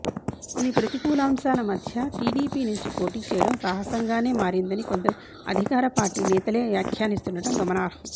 ఇన్ని ప్రతికూలాంశాల మధ్య టీడీపీ నుంచి పోటీ చేయడం సాహసంగానే మారిందని కొందరు అధికార పార్టీ నేతలే వ్యాఖ్యానిస్తుండడం గమనార్హం